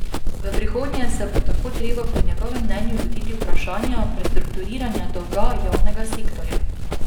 V prihodnje se bo tako treba po njegovem mnenju lotiti vprašanja prestrukturiranja dolga javnega sektorja.